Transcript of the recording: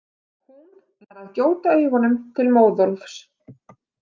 Hún nær að gjóta augunum til Móðólfs.